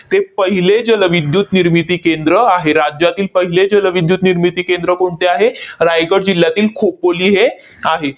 ते पहिले जलविद्युत निर्मिती केंद्र आहे. राज्यातील पहिले जलविद्युत निर्मिती केंद्र कोणते आहे? रायगड जिल्ह्यातील खोपोली हे आहे.